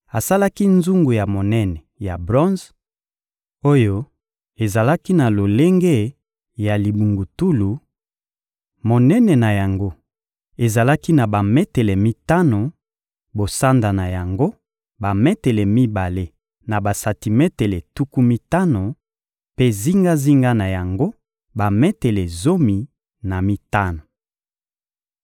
Asalaki nzungu ya monene ya bronze, oyo ezalaki na lolenge ya libungutulu: monene na yango ezalaki na bametele mitano; bosanda na yango, bametele mibale na basantimetele tuku mitano, mpe zingazinga na yango, bametele zomi na mitano.